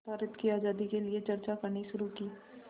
भारत की आज़ादी के लिए चर्चा करनी शुरू की